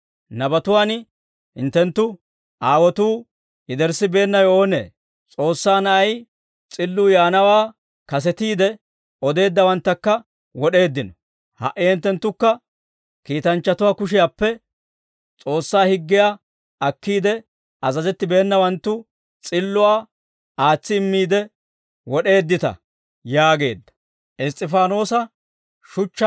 Nabatuwaan hinttenttu aawotuu yederssibeennawe oonee? S'oossaa Na'ay S'illuu yaanawaa kasetiide odeeddawanttakka wod'eeddino. Ha"i hinttenttukka kiitanchchatuwaa kushiyaappe S'oossaa higgiyaa akkiide azazettibeenawanttu, S'illuwaa aatsi immiide wod'eeddita» yaageedda.